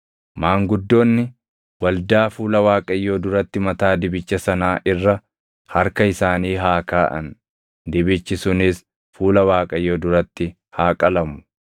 Maanguddoonni waldaa fuula Waaqayyoo duratti mataa dibicha sanaa irra harka isaanii haa kaaʼan; dibichi sunis fuula Waaqayyoo duratti haa qalamu.